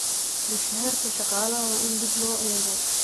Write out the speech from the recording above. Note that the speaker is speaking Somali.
Mushaharka shaqaalaha waa in dib loo eego.